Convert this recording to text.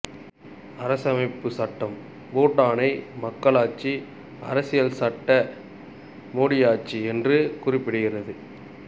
அரசமைப்புச் சட்டம் பூட்டானை மக்களாட்சி அரசியல்சட்ட முடியாட்சி என்று குறிப்பிடுகிறது